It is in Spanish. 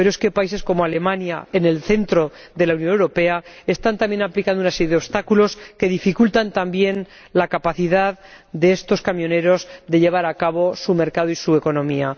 Pero es que países como Alemania, en el centro de la Unión Europea, están también aplicando una serie de obstáculos que dificultan, también, la capacidad de estos camioneros de ejercer su actividad económica.